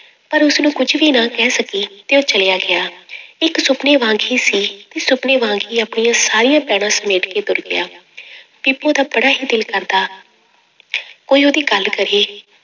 ਪਰ ਉਸਨੂੰ ਕੁੱਝ ਵੀ ਨਾ ਕਹਿ ਸਕੀ, ਤੇ ਉਹ ਚਲਿਆ ਗਿਆ ਇੱਕ ਸੁਪਨੇ ਵਾਂਗ ਹੀ ਸੀ ਤੇ ਸੁਪਨੇ ਵਾਂਗ ਹੀ ਆਪਣੀਆਂ ਸਾਰੀਆਂ ਪੈੜਾਂ ਸਮੇਟ ਕੇ ਤੁਰ ਗਿਆ ਬੀਬੋ ਦਾ ਬੜਾ ਹੀ ਦਿਲ ਕਰਦਾ ਕੋਈ ਉਹਦੀ ਗੱਲ ਕਰੇ,